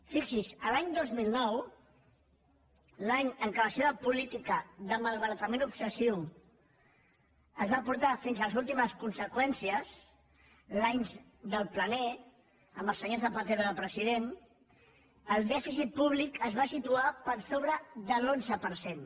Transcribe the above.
fixi’s l’any dos mil nou l’any en què la seva política de malbaratament obsessiu es va portar fins a les últimes conseqüències l’any del plan e amb el senyor zapatero de president el dèficit públic es va situar per sobre de l’onze per cent